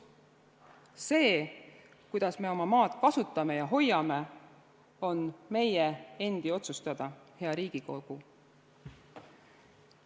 See, kuidas me oma maad kasutame ja hoiame, on meie endi otsustada, hea Riigikogu.